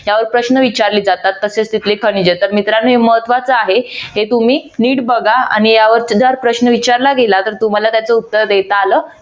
त्यावर प्रश्न विचारले जातात तसेच तिथले खनिजे तर मित्रांनो महत्त्वाचा आहे हे तुम्ही नीट बघा आणि यावर जर प्रश्न विचारला गेला तर तुम्हाला त्याचे उत्तर देता आलं